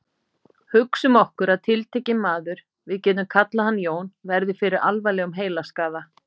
Hugsum okkur að tiltekinn maður, við getum kallað hann Jón, verði fyrir alvarlegum heilaskaða.